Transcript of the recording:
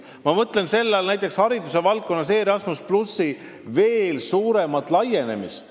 Ma mõtlen selle all näiteks hariduse valdkonnas Erasmus+ veel suuremat laienemist.